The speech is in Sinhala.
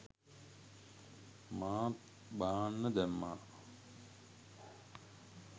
මාත් බාන්න දැම්මා